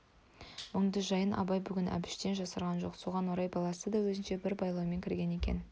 мұңды жайын абай бүгін әбіштен жасырған жоқ соған орай баласы да өзінше бір байлаумен кірген екен